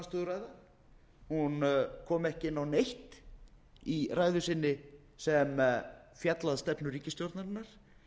stjórnarandstöðuræða hún kom ekki inn á neitt í ræðu sinni sem fjallaði um stefnu ríkisstjórnarinnar